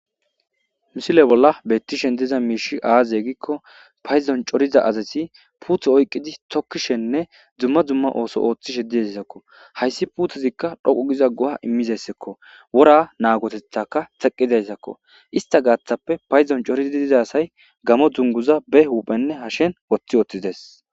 Misile bolla beettishen diza miishi aaze gikko paydon coriza asasi puutho oyqqidi tokkishenne dzumma dzumma ooso ooththishe dizayssakko hayssi puutezikka dhoqu giza goha immizyssakko wora naagotethaka teqqizayssakko ista gaaththappe padzon coriza asay gaamo dunguza be huphenne hashen woththi woththides.